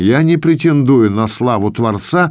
я не претендую на славу творца